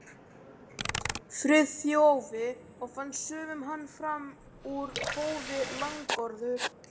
Friðþjófi og fannst sumum hann fram úr hófi langorður.